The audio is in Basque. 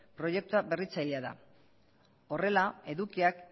proiektua berritzailea da horrela edukiak